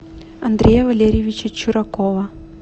андрея валерьевича чуракова